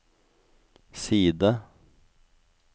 side